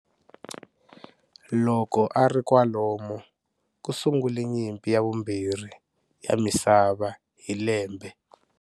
Loko ari kwalomo, kusungule nyimpi ya vumbirhi ya misava hi lembe.